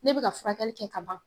Ne bɛ ka furakɛli kɛ ka ban